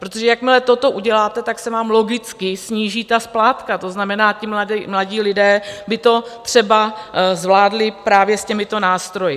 Protože jakmile toto uděláte, tak se vám logicky sníží ta splátka, to znamená, ti mladí lidé by to třeba zvládli právě s těmito nástroji.